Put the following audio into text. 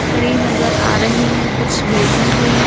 खड़ी नजर आ रही हैं कुछ बैठी हुई।